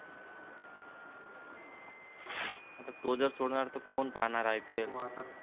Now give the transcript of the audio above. तो जर सोडणार तर कोण पाहणार आय पी एल